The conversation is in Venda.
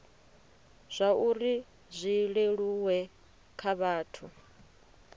zwauri zwi leluwe kha vhathu